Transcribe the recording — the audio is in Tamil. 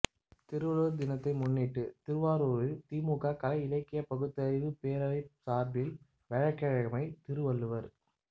திருவள்ளுவா் தினத்தை முன்னிட்டு திருவாரூரில் திமுக கலை இலக்கியப் பகுத்தறிவுப் பேரவை சாா்பில் வியாழக்கிழமை திருவள்ளுவா்